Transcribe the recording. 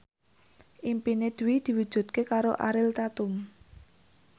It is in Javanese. impine Dwi diwujudke karo Ariel Tatum